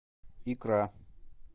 икра